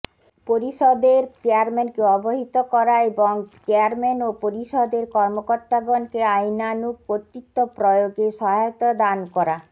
পরিষদের চেয়ারম্যানকে অবহিত করা এবং চেয়ারম্যান ও পরিষদের কর্মকর্তাগণকে আইনানুগ কর্তৃত্ব প্রয়োগে সহায়তা দান করা